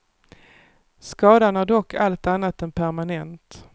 Skadan är dock allt annat än permanent.